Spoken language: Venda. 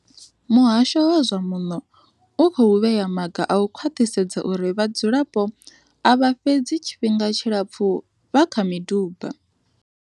Muhasho wa zwa Muno u khou vhea maga a u khwaṱhisedza uri vhadzulapo a vha fhedzi tshi fhinga tshilapfu vha kha miduba.